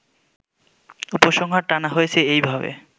উপসংহার টানা হয়েছে এইভাবে